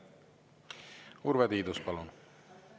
Urve Tiidus, palun!